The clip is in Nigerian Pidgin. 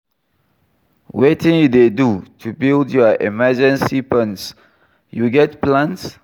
wetin you dey do to build your emergency funds, you get plans?